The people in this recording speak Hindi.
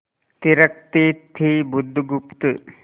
थिरकती थी बुधगुप्त